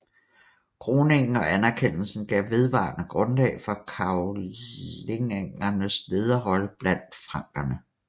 Kroningen og anerkendelsen gav vedvarende grundlag for karolingernes lederrolle blandt frankerne